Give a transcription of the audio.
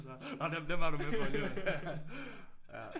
Den var du med på alligevel